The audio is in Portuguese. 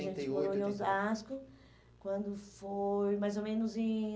A gente morou em Osasco quando foi mais ou menos em